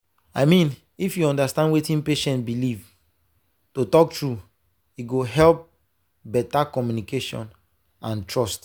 i mean if you understand wetin patient believe to talk true e go help better communication and trust.